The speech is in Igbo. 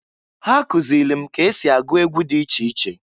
Ha kụzịlị m ka esi agụ egwu dị iche iche.